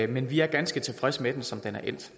men vi er ganske tilfredse med den som den er endt